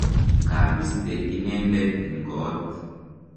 kabiste inendet eng koot